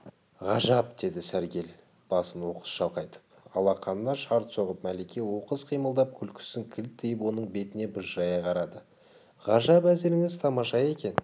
ғажап деді сәргел басын оқыс шалқайтып алақанына шарт соғып мәлике оқыс қимылдап күлкісін кілт тиып оның бетіне бажырая қарады ғажап әзіліңіз тамаша екен